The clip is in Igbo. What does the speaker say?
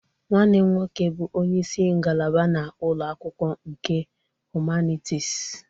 Nwanne m nwoke bụ onye isi ngalaba na ụlọ akwụkwọ nke Humanities